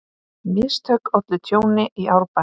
Mistök ollu tjóni í Árbæ